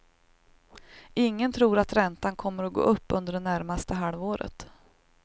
Ingen tror att räntan kommer att gå upp under det närmaste halvåret.